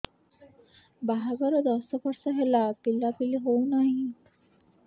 ବାହାଘର ଦଶ ବର୍ଷ ହେଲା ପିଲାପିଲି ହଉନାହି